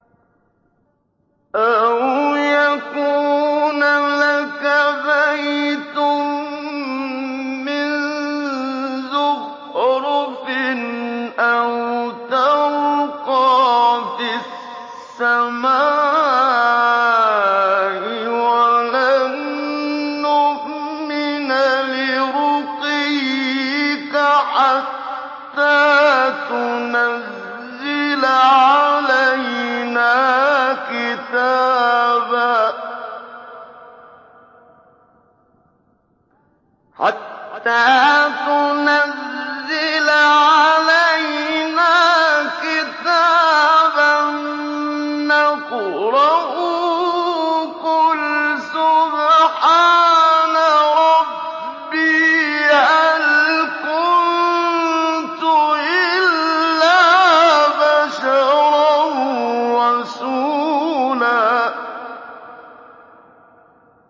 أَوْ يَكُونَ لَكَ بَيْتٌ مِّن زُخْرُفٍ أَوْ تَرْقَىٰ فِي السَّمَاءِ وَلَن نُّؤْمِنَ لِرُقِيِّكَ حَتَّىٰ تُنَزِّلَ عَلَيْنَا كِتَابًا نَّقْرَؤُهُ ۗ قُلْ سُبْحَانَ رَبِّي هَلْ كُنتُ إِلَّا بَشَرًا رَّسُولًا